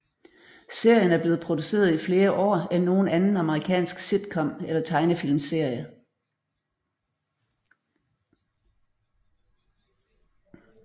Serien er blevet produceret i flere år end nogen anden amerikansk sitcom eller tegnefilmsserie